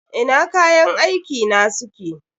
Ina kayan aiki na suke?